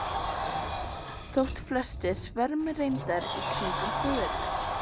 Þótt flestir svermi reyndar í kringum föður minn.